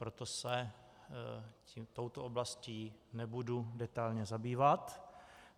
Proto se touto oblastí nebudu detailně zabývat.